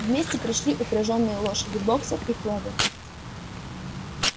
вместе пришли упряжные лошади боксёр и кловер